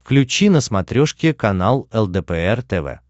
включи на смотрешке канал лдпр тв